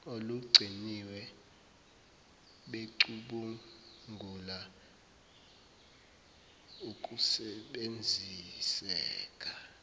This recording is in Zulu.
olugciniwe becubungula ukusebenziseka